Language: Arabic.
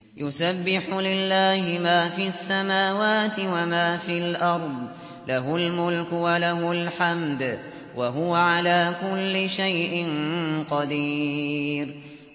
يُسَبِّحُ لِلَّهِ مَا فِي السَّمَاوَاتِ وَمَا فِي الْأَرْضِ ۖ لَهُ الْمُلْكُ وَلَهُ الْحَمْدُ ۖ وَهُوَ عَلَىٰ كُلِّ شَيْءٍ قَدِيرٌ